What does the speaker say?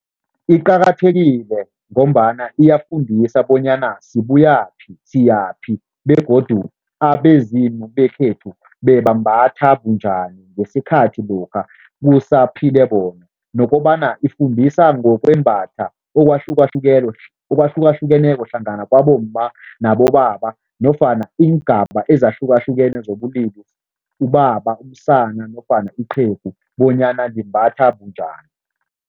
Iqakathekile ngombana iyafundisa bonyana sibuyaphi, siyaphi begodu abezimu bekhethu bebambatha bunjani ngesikhathi lokha kusaphile bona nokobana ifundisa ngokwembatha okwahlukahlukeneko hlangana kwabomma nabobaba nofana iingaba ezahlukahlukene zobulili, ubaba, umsana nofana iqhegu bonyana limbatha bunjani.